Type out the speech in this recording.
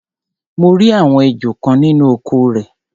mo rí àwọn ejò kan nínú oko rẹ̀.